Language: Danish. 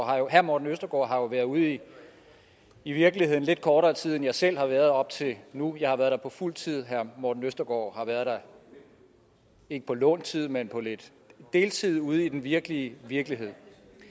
herre morten østergaard har jo været ude i i virkeligheden lidt kortere tid end jeg selv har været op til nu jeg har været der på fuld tid og herre morten østergaard har været der ikke på lånt tid men på lidt deltid ude i den virkelige virkelighed